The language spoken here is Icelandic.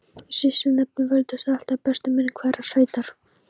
Í sýslunefnd völdust alltaf bestu menn hverrar sveitar.